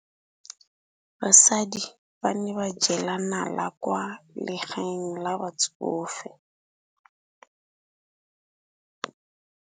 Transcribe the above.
Basadi ba ne ba jela nala kwaa legaeng la batsofe.